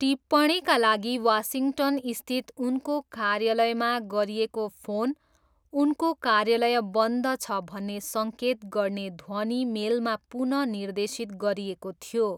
टिप्पणीका लागि वासिङ्टनस्थित उनको कार्यालयमा गरिएको फोन उनको 'कार्यालय बन्द छ' भन्ने सङ्केत गर्ने ध्वनि मेलमा पुन निर्देशित गरिएको थियो।